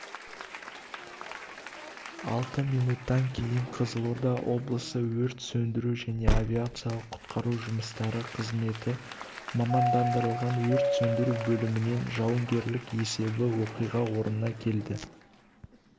алты минуттан кейін қызылорда облысы өрт сөндіру және авариялық-құтқару жұмыстары қызметі мамандандырылған өрт сөндіру бөлімінен жауынгерлік есебі оқиға орнына келді